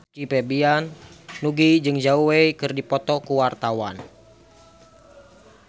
Nugie jeung Zhao Wei keur dipoto ku wartawan